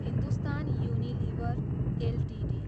Hindustan Unilever Ltd